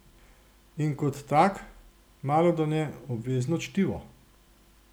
In kot tak malodane obvezno čtivo!